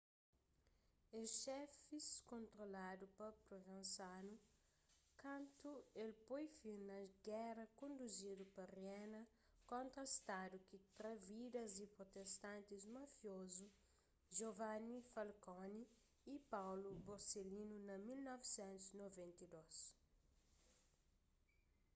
es xefis kontroladu pa provenzano kantu el poi fin na géra konduzidu pa riena kontra stadu ki tra vidas di protestantis mafiozu giovanni falcone y paolo borsellino na 1992